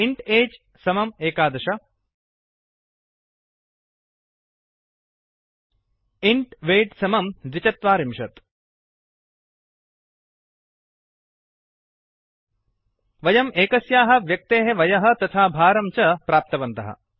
int age समं एकादश ११ in weight समं द्विचत्वारिंशत् ४२ वयम् एकस्याः व्यक्तेः वयः तथा भारं च प्राप्तवन्तः